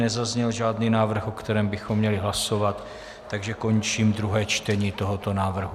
Nezazněl žádný návrh, o kterém bychom měli hlasovat, takže končím druhé čtení tohoto návrhu.